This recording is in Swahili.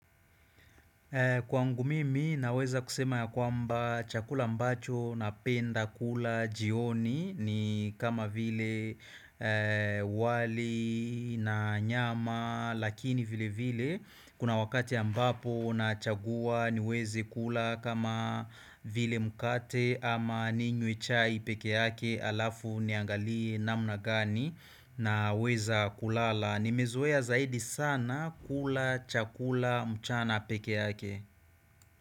Kwangu mimi naweza kusema ya kwamba chakula mbacho napenda kula jioni ni kama vile wali na nyama lakini vile vile kuna wakati ambapo nachagua niweze kula kama vile mkate ama ninywe chai pekee yake alafu niangalie namna gani naweza kulala. Nimezoea zaidi sana kula, chakula, mchana pekee yake.